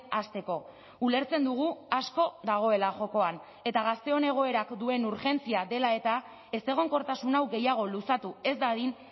hasteko ulertzen dugu asko dagoela jokoan eta gazteon egoerak duen urgentzia dela eta ezegonkortasun hau gehiago luzatu ez dadin